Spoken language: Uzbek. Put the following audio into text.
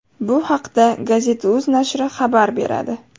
Bu haqda Gazeta.uz nashri xabar beradi.